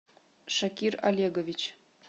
шакир олегович